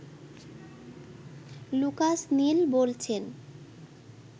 Lucas Neil বলছেন